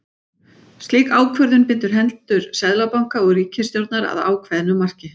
Slík ákvörðun bindur hendur seðlabanka og ríkisstjórnar að ákveðnu marki.